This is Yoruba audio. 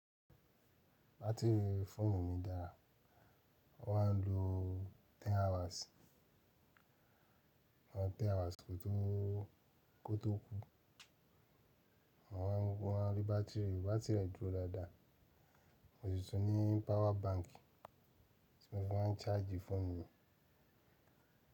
Batiri fóònù mi dára. Wọ́n à ń lo ten hours, ten hours kó tó, kó tó kú. Wọ́n má ń rí batiri, batiri rẹ̀ dúró dáadáa. Mo sì tún ní power bank tí mo fi máa ń charge fóònù mi.